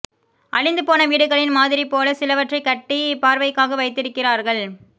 அழிந்து போன வீடுகளின் மாதிரி போலச் சிலவற்றைக் கட்டி பார்வைக்காக வைத்திருக்கிறார்கள்